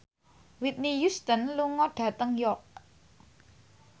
Whitney Houston lunga dhateng York